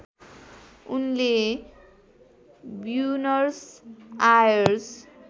उनले Buenos Aires